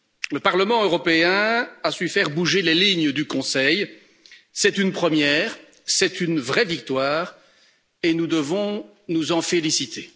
Le Parlement européen a su faire bouger les lignes du Conseil c'est une première, c'est une vraie victoire et nous devons nous en féliciter.